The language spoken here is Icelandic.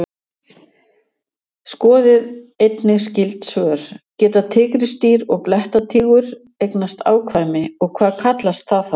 Skoðið einnig skyld svör: Geta tígrisdýr og blettatígur eignast afkvæmi og hvað kallast það þá?